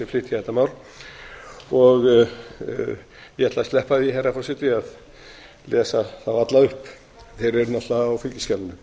flytja þetta mál og ég ætla að sleppa því herra forseti að lesa þá alla upp þeir eru náttúrlega á fylgiskjalinu